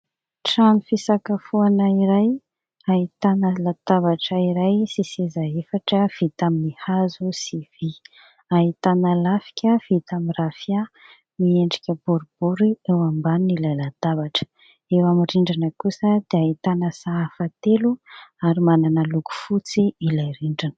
Trano fisakafoana iray ahitana latabatra iray sy seza efatra vita amin'ny hazo sy vy, ahitana lafika vita amin'ny rafia miendrika boribory eo ambanin'ilay latabatra. Eo amin'ny rindrina kosa dia ahitana sahafa telo ary manana loko fotsy ilay rindrina.